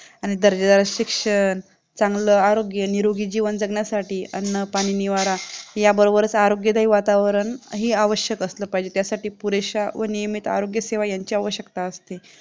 आणि दर्जा शिक्षण चांगला आरोग्य हे जीवन जगण्यासाठी अन्न पाणी निवारा याबरोबरच आरोग्यदायी वातावरण ही आवश्यक असलं पाहिजे त्यासाठी पुरेशा व नियमित आरोग्य सेवा यांचीही आवश्यकता असते